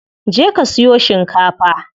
Je ka siyo shikafa.